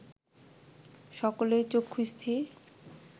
সকলেই চক্ষুস্থির